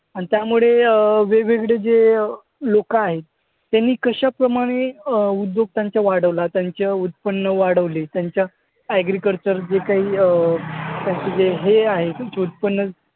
आणि त्यामुळे अं वेगवेगळे जे लोकं आहेत त्यांनी कशाप्रमाणे अं उद्योग त्यांचा वाढवला, त्यांचं उत्पन्न वाढवले, त्यांचं agriculture जे काही अं त्यांचं जे हे हे उत्पन्न